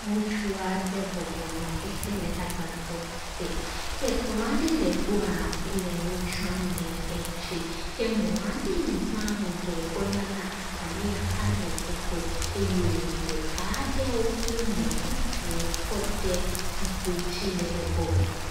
Ŋutsu aɖe bɔbɔ nɔ xexe la agbadɔ te, ke kplɔa aɖe le gbɔa, wole nu dzram le dzi. Ke mɔ aɖe yi za ŋdɔ kɔ nana akaɖi hã le egbɔ eye wòfɔ ka aɖewo kple mɔ bubuwo kɔ de zikpui dzi le egbɔ.